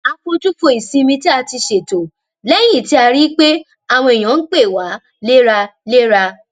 a fojú fo ìsinmi tí a ti ṣètò lẹyìn tí a rí i pé àwọn èèyàn ń pè wá léraléra